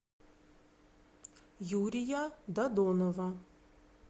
юрия додонова